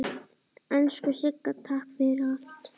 Elsku Sigga, takk fyrir allt.